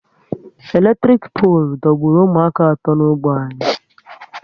Eletrik polu dọgburu ụmụaka atọ n'ógbè anyị